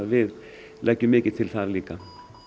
við leggjum mikið til þar líka